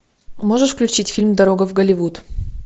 можешь включить фильм дорога в голливуд